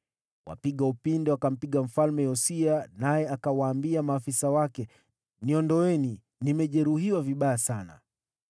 Wapiga upinde wakampiga Mfalme Yosia, naye akawaambia maafisa wake, “Niondoeni, nimejeruhiwa vibaya sana.”